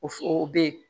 O f o be yen